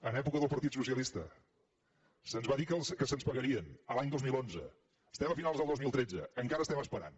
en època del partit socialista se’ns va dir que se’ns pagarien l’any dos mil onze estem a finals del dos mil tretze encara estem esperant